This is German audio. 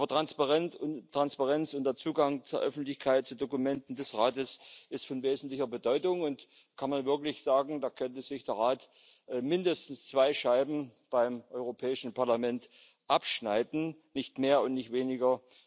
Aber Transparenz und der Zugang der Öffentlichkeit zu Dokumenten des Rates ist von wesentlicher Bedeutung, und man kann wirklich sagen, da könnte sich der Rat mindestens zwei Scheiben beim Europäischen Parlament abschneiden nicht mehr und nicht weniger.